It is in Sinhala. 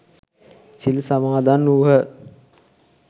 සිල් සමාදන් වුහ.